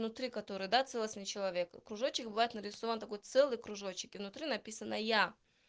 внутри которой да целостный человек кружочек бывает нарисован такой целый кружочек и внутри написано я